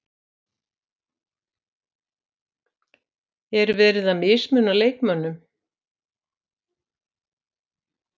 Er verið að mismuna leikmönnum?